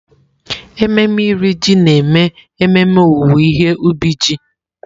Ememe Iri Ji na-eme ememe owuwe ihe ubi ji.